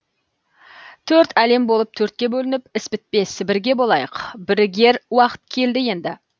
төрт әлем болып төртке бөлініп іс бітпес бірге болайық бірігер уақыт келді енді